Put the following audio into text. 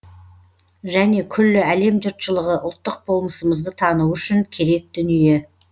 және күллі әлем жұртшылығы ұлттық болмысымызды тануы үшін керек дүние